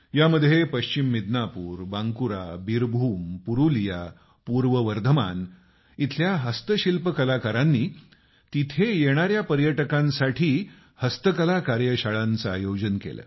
यामध्ये पश्चिम मिदनापूर बांकुरा बीरभूम पुरुलिया पूर्व वर्धमान इथल्या हस्तशिल्प कलाकारांनी तिथे येणाऱ्या पर्यटकांसाठी हस्तकला कार्यशाळांचं आयोजन केलं